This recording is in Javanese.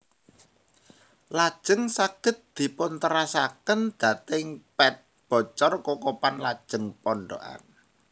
Lajeng saged dipun terasaken dhateng Pet Bocor Kokopan lajeng Pondokan